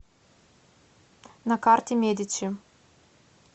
на карте медичи